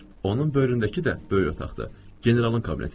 Onun böyründəki də böyük otaqdır, generalın kabinetidir.